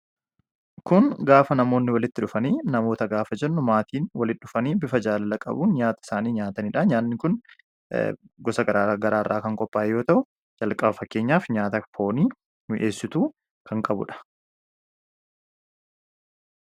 kun gaafa namoonni walitti dhufanii namoota gaafa jennu maatiin walii dhufanii bifa jaalala-qabuu nyaata isaanii nyaataniidha. Nyaanni kun gosa garaarraa kan qopaa'e yoo ta'u jalqaba fakkeenyaaf nyaata foonii nuu dhiyeessituu kan qabuudha